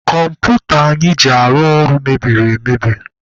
Kọmputa anyị ji arụ ọrụ mebiri emebi.